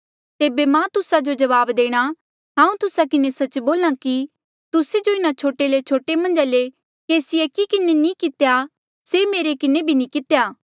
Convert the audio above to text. तेबे मां तुस्सा जो जवाब देणा हांऊँ तुस्सा किन्हें सच्च बोल्हा कि तुस्से जो इन्हा छोटे ले छोटे मन्झा ले केसी एकी किन्हें नी कितेया से मेरे किन्हें भी नी कितेया